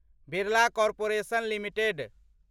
Birla corporation limited